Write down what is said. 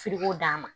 d'a ma